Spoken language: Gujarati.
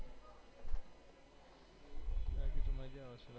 મજ્જા આવશે